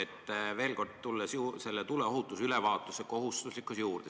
Tulen veel kord tuleohutusülevaatuse kohustuslikkuse juurde.